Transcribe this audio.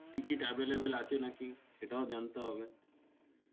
ticket available আছে নাকি সেটাও জানতে হবে